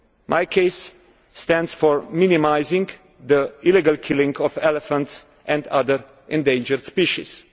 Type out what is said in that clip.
MIKES stands for Minimising the Illegal Killing of Elephants and other Endangered Species'.